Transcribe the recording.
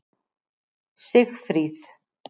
Sigfríð